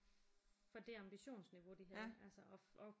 For det ambitionsniveau de havde og